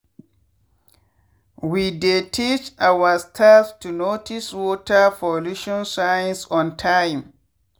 we dey teach our staffs to notice water pollution signs on time.